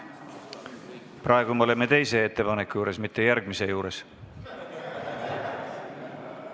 Praegu me oleme teise muudatusettepaneku, mitte järgmise juures.